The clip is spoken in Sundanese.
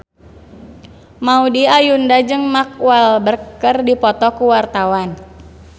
Maudy Ayunda jeung Mark Walberg keur dipoto ku wartawan